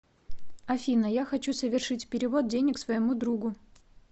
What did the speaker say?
афина я хочу совершить перевод денег своему другу